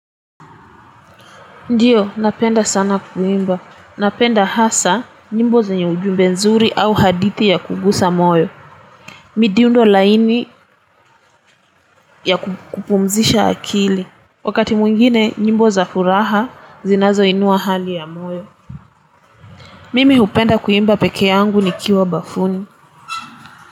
Ndiyo, napenda sana kuimba. Napenda hasa, nyimbo za nyo ujumbe nzuri au hadithi ya kugusa moyo. Midundo laini ya kupumzisha akili. Wakati mwingine, nyimbo za furaha, zinazo inua hali ya moyo. Mimi upenda kuimba peke yangu ni kiwa bafuni.